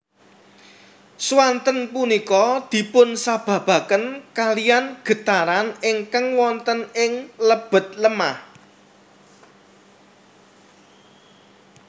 Swanten punika dipunsababaken kaliyan getaran ingkang wonten ing lebet lemah